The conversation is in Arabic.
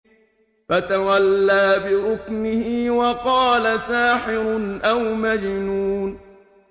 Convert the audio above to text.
فَتَوَلَّىٰ بِرُكْنِهِ وَقَالَ سَاحِرٌ أَوْ مَجْنُونٌ